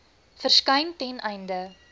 verskyn ten einde